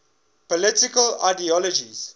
political ideologies